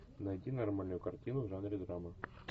найди нормальную картину в жанре драма